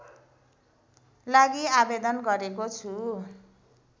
लागि आवेदन गरेको छु